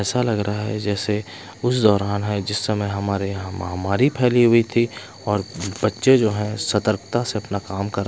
ऐसा लग रहा है जैसे उस दौरान है जिस समय हमारे यहां महामारी फैली हुई थी और बच्चे जो है सतर्कता से अपना काम कर--